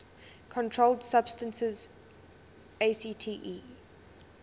controlled substances acte